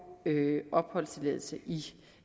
opholdstilladelse i